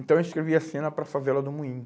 Então, eu escrevi a cena para a favela do Moinho.